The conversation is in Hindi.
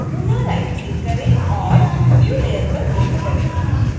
पुनः राइटक्लिक करें और new layer पर क्लिक करें